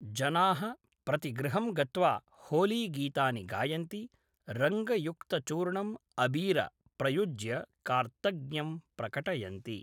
जनाः प्रतिगृहं गत्वा होलीगीतानि गायन्ति, रङ्गयुक्तचूर्णं अबीर प्रयुज्य कार्तज्ञ्यं प्रकटयन्ति।